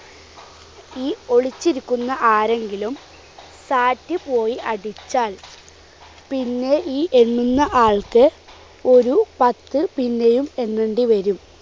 ഈ ഒളിച്ചിരിക്കുന്ന ആരെങ്കിലും sat പോയി അടിച്ചാൽ പിന്നെ ഈ എണ്ണുന്ന ആൾക്ക് ഒരു പത്ത് പിന്നെയും എണ്ണണ്ടി വരും.